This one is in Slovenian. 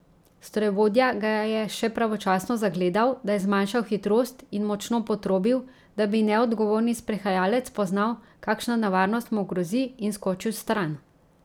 Strojevodja ga je še pravočasno zagledal, da je zmanjšal hitrost in močno potrobil, da bi neodgovorni sprehajalec spoznal, kakšna nevarnost mu grozi in skočil stran.